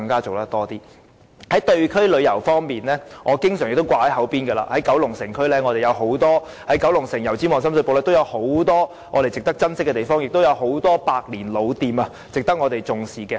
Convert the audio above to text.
至於地區旅遊方面，我常掛在嘴邊的是九龍城、油尖區和深水埗區，當中有很多值得我們珍惜的地方，亦有很多百年老店值得我們重視。